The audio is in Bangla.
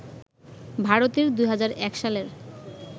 ভারতের ২০০১ সালের